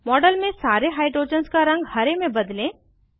model में सारे hydrogens का रंग हरे में बदलें